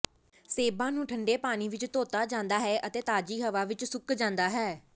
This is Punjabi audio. ਸੇਬਾਂ ਨੂੰ ਠੰਡੇ ਪਾਣੀ ਵਿਚ ਧੋਤਾ ਜਾਂਦਾ ਹੈ ਅਤੇ ਤਾਜ਼ੀ ਹਵਾ ਵਿਚ ਸੁੱਕ ਜਾਂਦਾ ਹੈ